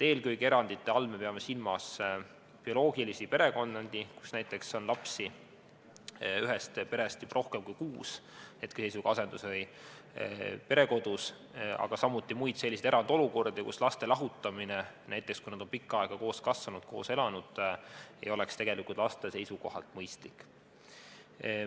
Eelkõige me peame erandite all silmas bioloogilisi perekondi, kui näiteks on rohkem kui kuus ühe pere last asendus- või perekodus, aga samuti muid erandolukordi, kus laste lahutamine, näiteks kui nad on pikka aega koos kasvanud, koos elanud, ei oleks laste seisukohalt mõistlik.